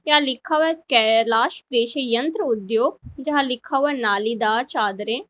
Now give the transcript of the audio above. यहां लिखा हुआ है कैलाश कृषि यंत्र उद्योग जहां लिखा हुआ है नालीदार चादरें।